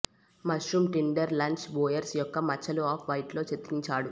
mushroom tinder లర్చ్ బోయెర్స్ యొక్క మచ్చలు ఆఫ్ వైట్ లో చిత్రించాడు